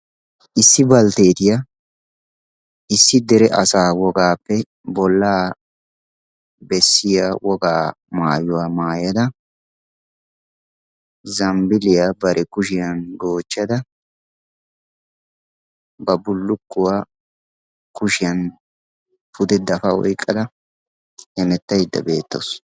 issi baltteetiyaa issi dere asaa wogaappe bollaa bessiya wogaa maayuwaa maayada zambbiliyaa bare kushiyan goochchada ba bulukkuwaa kushiyan pude dafa woyqqada hemettaydda beettoosona